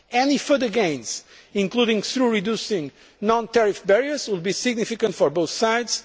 Any further gains, including by reducing non tariff barriers, will be significant for both sides.